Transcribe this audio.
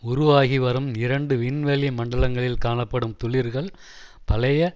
உருவாகி வரும் இரண்டு விண்வெளி மண்டலங்களில் காணப்படும் துளிர்கள் பழைய